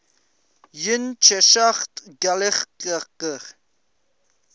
yn cheshaght ghailckagh